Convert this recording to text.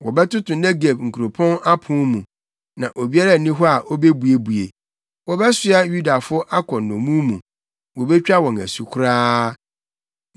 Wɔbɛtoto Negeb nkuropɔn apon mu, na obiara nni hɔ a obebuebue. Wɔbɛsoa Yudafo akɔ nnommum mu wobetwa wɔn asu koraa.